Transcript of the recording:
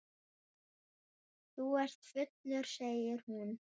Þú ert fullur, segir hún.